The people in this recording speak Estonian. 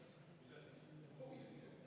Ettepanek leidis toetust.